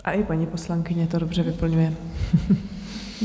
A i paní poslankyně to dobře vyplňuje.